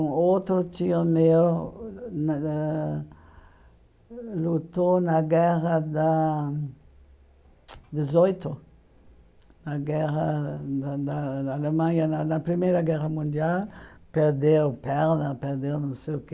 Um outro tio meu nã ãh lutou na Guerra da dezoito, na guerra da da da Alemanha na na Primeira Guerra Mundial, perdeu perna, perdeu não sei o quê.